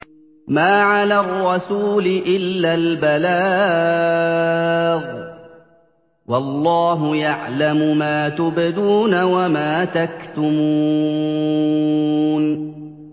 مَّا عَلَى الرَّسُولِ إِلَّا الْبَلَاغُ ۗ وَاللَّهُ يَعْلَمُ مَا تُبْدُونَ وَمَا تَكْتُمُونَ